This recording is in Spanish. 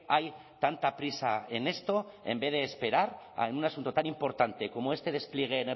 hay tanta prisa en esto en vez de esperar a en un asunto tan importante como este despliegue